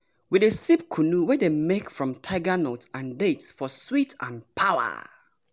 we dey sip kunu wey dem make from tiger nuts and dates for sweet and power.